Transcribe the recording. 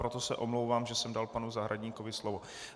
Proto se omlouvám, že jsem dal panu Zahradníkovi slovo.